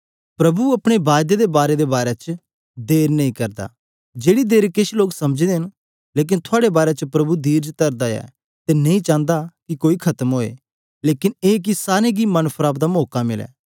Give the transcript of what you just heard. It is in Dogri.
प्रभु अपनी हरज्ञा दे बारै च देर नेईं करदा जिन्नी देर केछ लोक समझदे न लेकन थुआड़े बारै च धीरज तरदा ऐ अते नेईं चांदा कि कोई खत्म होए लेकन ए कि सारे गी मन फिराव दा मौका मिले